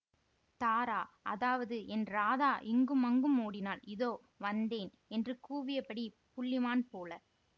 தாரா அதாவது என் ராதா இங்குமங்கும் ஓடினாள் இதோ வந்தேன் என்று கூவியபடி புள்ளிமான்போல